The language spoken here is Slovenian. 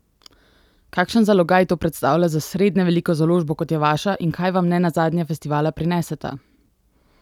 Kakšen zalogaj to predstavlja za srednje veliko založbo kot je vaša in kaj vam nenazadnje festivala prineseta?